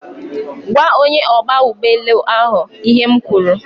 Gwaa onye ogba ugboelu ahu ihe m kwuru